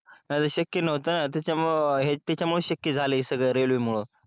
नाही त शक्य न्हवत न त्याच्यामुळे त्यामुळेच शक्य झालय हे सगळ रेल्वे मूळ